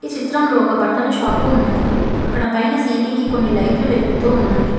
చిత్రంలో ఒక బట్టల షాపు ఉన్నది అక్కడ పైన సీలింగ్ కి కొన్ని లైట్లు వెలుగుతూ ఉన్నవి.